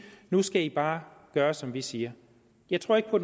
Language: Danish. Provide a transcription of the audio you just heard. nu skal i bare gøre som vi siger jeg tror ikke på